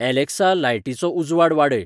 Alexa लायटीचो उजवाड वाडय